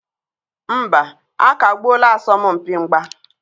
Mba, a kagbuola asọmpi mgba.